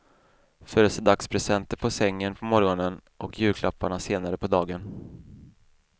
Födelsedagspresenter på sängen på morgonen och julklapparna senare på dagen.